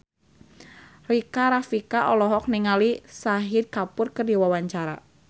Rika Rafika olohok ningali Shahid Kapoor keur diwawancara